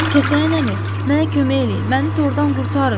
Kəsəyən əmi, mənə kömək eləyin, məni tordan qurtarın.